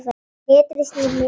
Letrið snýr niður.